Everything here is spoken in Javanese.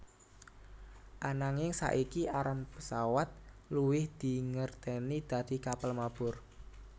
Ananging saiki aran pesawat luwih dingerteni dadi kapal mabur